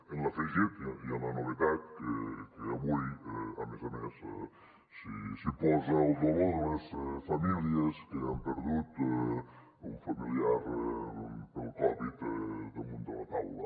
amb l’afegit i amb la novetat que avui a més a més s’hi posa el dolor de les famílies que han perdut un familiar pel covid damunt de la taula